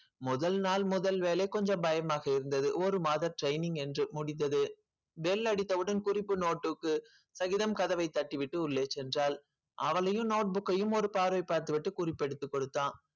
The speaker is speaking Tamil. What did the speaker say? முதல் நாள் முதல் வேலை கொஞ்சம் பயமாக இருந்தது ஒரு மாத training என்று முடிந்தது bell அடித்தவுடன் குறிப்பு note ~ook உ சகிதம் கதவைத் தட்டிவிட்டு உள்ளே சென்றாள் அவளையும் note book ஐயும் ஒரு பார்வை பார்த்துவிட்டு குறிப்பெடுத்துக் கொடுத்தான்